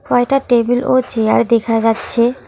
কয়টা টেবিল ও চেয়ার দেখা যাচ্ছে।